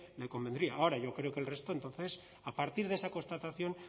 le convendría ahora yo creo que el resto entonces a partir de esa constatación